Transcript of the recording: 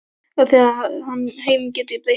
Og þegar heim kemur breyta þær engu.